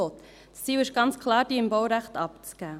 Das Ziel ist ganz klar, diese im Baurecht abzugeben.